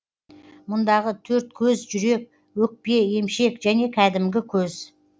мұндағы төрт көз жүрек өкпе емшек және кәдімгі көз